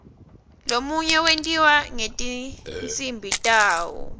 lomunye wentiwa ngetinsimbi tawo